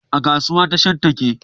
A kasuwa, tashar take